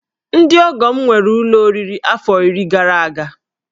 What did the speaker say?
Ndị ọgọ m nwere ụlọ oriri afọ iri gara aga